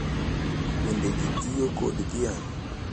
Bende, ji tiyo kod dhiang’